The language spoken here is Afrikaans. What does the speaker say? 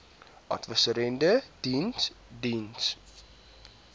adviserende diens diens